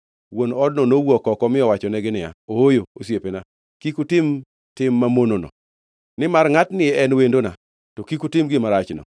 Wuon odno nowuok oko mi owachonegi niya, “Ooyo, osiepena, kik utim tim mamonono. Nimar ngʼatni en wendona, kik utim gima rachno.